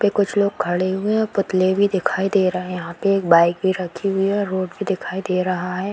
पे कुछ लोग खड़े हुए हैं और पुतले भी दिखाई दे रहें हैं। यहाँ पे एक बाइक भी रखी हुई है और रोड भी दिखाई दे रहा है।